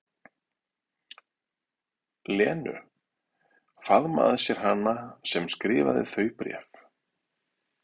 Lenu, faðma að sér hana sem skrifaði þau bréf.